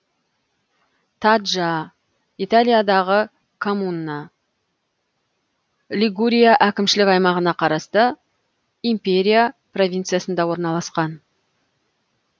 таджа италиядағы коммуна лигурия әкімшілік аймағына қарасты империя провинциясында орналасқан